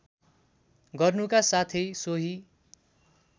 गर्नुका साथै सोही